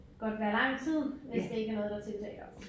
Godt være lang tid hvis det ikke er noget der tiltaler dem